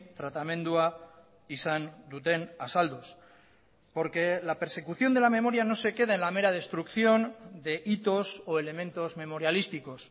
tratamendua izan duten azalduz porque la persecución de la memoria no se queda en la mera destrucción de hitos o elementos memorialísticos